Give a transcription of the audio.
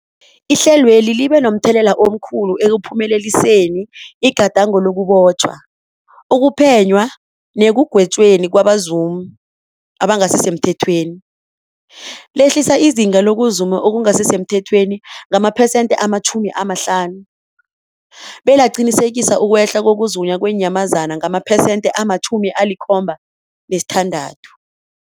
Ihlelweli libe momthelela omkhulu ekuphumeleliseni igadango lokubotjhwa, ukuphenywa nekugwetjweni kwabazumi abangasisemthethweni, lehlisa izinga lokuzuma okungasi semthethweni ngamaphesenthe-50, belaqinisekisa ukwehla kokuzunywa kweenyamazana ngamaphesenthe-76.